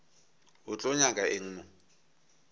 o tlo nyaka eng mo